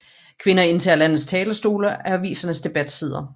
Kvinder indtager landets talerstole og avisernes debatsider